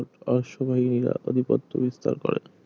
অশ্ববাহিনিরা আধিপত্য বিস্তার করে